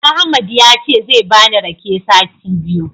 Ahmad yace zai bani rake sati biyu.